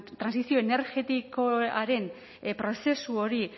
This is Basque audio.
trantsizio energetikoaren prozesu hori